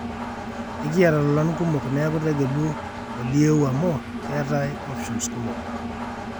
ekiyata lolan kumok neeku tegelu olieu amu keetae options kumok